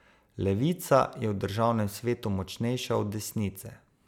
Levica je v državnem svetu močnejša od desnice.